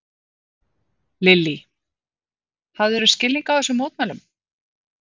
Lillý: Hafðirðu skilning á þessum mótmælum?